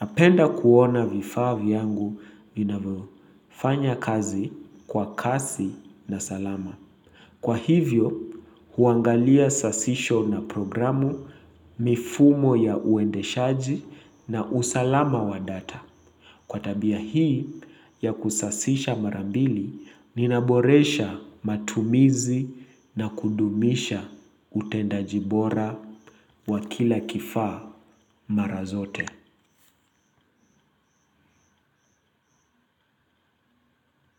Napenda kuona vifaa vyangu vinavyofanya kazi kwa kasi na salama. Kwa hivyo, huangalia sasisho na programu, mifumo ya uendeshaji na usalama wa data. Kwa tabia hii ya kusasisha mara mbili ninaboresha matumizi na kudumisha utendaji bora wa kila kifaa mara zote.